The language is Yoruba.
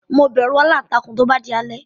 Mo bẹ̀rù aláǹtakùn tó bá di alẹ́.